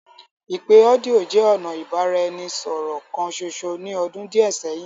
Ipe ọdio jẹ ọna ibaraẹnisọrọ kan ṣoṣo ni ọdun diẹ sẹhin.